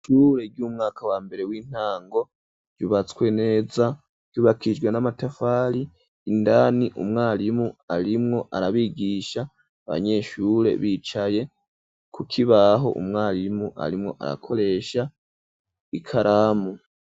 Ishure ry'umwaka wa mbere w'intango ryubatswe neza ryubakijwe n'amatafari indani umwarimu arimwo arabigisha abanyeshure bicaye kukibaho umwarimu arimwo arakoresha ikaramu.